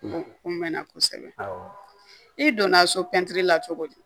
Kun bɛ na kosɛbɛ i donna so pɛntiri la cogo di